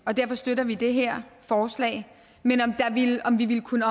og derfor støtter vi det her forslag men om vi ville kunne